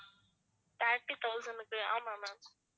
thirty thousand க்கு ஆமா ma'am